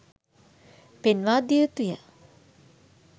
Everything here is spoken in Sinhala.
පෙන්වා දිය යුතුය.